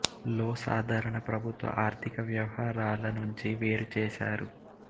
లో సాధారణ ప్రభుత్వ ఆర్థిక వ్యవహారాల నుంచి వేరు చేశారు